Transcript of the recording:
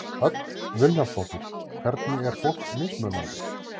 Hödd Vilhjálmsdóttir: Hvernig er fólk mismunandi?